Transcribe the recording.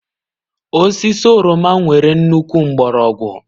Osisi oroma nwere nnukwu mgbọrọgwụ